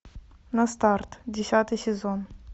на старт десятый сезон